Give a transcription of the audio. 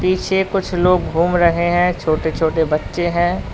पीछे कुछ लोग घूम रहे हैं छोटे छोटे बच्चे हैं।